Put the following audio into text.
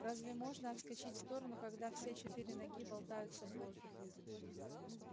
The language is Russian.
разве можно отскочить в сторону когда все четыре ноги болтаются в воздухе